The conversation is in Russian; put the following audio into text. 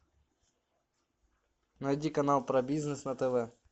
найди канал про бизнес на тв